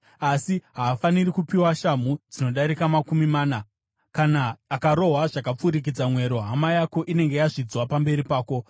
Asi haafaniri kupiwa shamhu dzinodarika makumi mana. Kana akarohwa zvakapfurikidza mwero, hama yako inenge yazvidzwa pamberi pako.